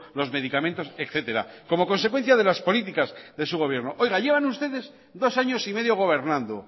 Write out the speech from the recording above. los medicamentos etcétera como consecuencia de las políticas de su gobierno oiga llevan ustedes dos años y medio gobernando